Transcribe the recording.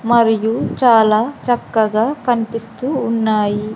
మరియు చాలా చక్కగా కనిపిస్తూ ఉన్నాయి.